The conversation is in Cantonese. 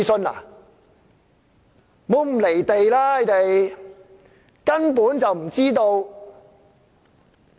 那些村民根本就不知道。